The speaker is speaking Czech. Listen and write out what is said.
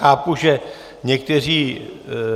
Chápu, že někteří